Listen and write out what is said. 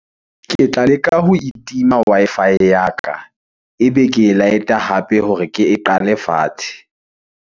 Ke tla leka ho itima Wi-Fi ya ka, ebe ke e light-a hape hore ke e qale fatshe.